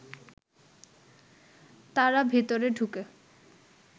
তারা ভেতরে ঢুকে